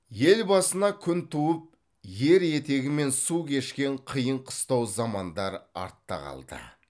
ел басына күн туып ер етегімен су кешкен қиын қыстау замандар артта қалды